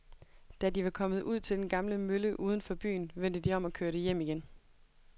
Da de var kommet ud til den gamle mølle uden for byen, vendte de om og kørte hjem igen.